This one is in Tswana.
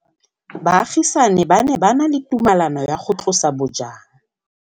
Baagisani ba ne ba na le tumalanô ya go tlosa bojang.